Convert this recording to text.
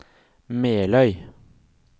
Meløy